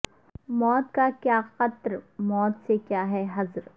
موت کا کیا خطر موت سے کیا ہے ہذر